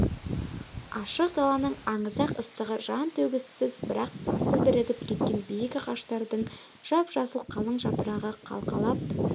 ашық даланың аңызақ ыстығы жан төзгісіз бірақ басы бірігіп кеткен биік ағаштардың жап-жасыл қалың жапырағы қалқалап